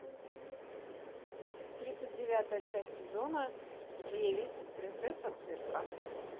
тридцать девятая часть сезона девять принцесса цирка